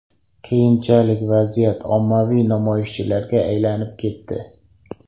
Keyinchalik vaziyat ommaviy namoyishlarga aylanib ketdi.